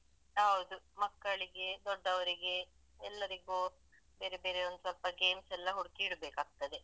ಹೌದು ಮಕ್ಕಳಿಗೆ ದೊಡ್ಡವರಿಗೆ ಎಲ್ಲರಿಗು ಬೇರೆ ಬೇರೆ ಒಂದ್ ಸ್ವಲ್ಪ games ಎಲ್ಲ ಹುಡ್ಕಿ ಇಡ್ಬೇಕಾಗ್ತದೆ.